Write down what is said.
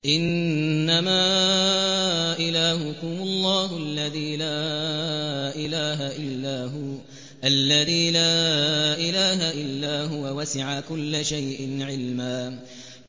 إِنَّمَا إِلَٰهُكُمُ اللَّهُ الَّذِي لَا إِلَٰهَ إِلَّا هُوَ ۚ وَسِعَ كُلَّ شَيْءٍ عِلْمًا